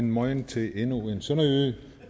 mojn til endnu en sønderjyde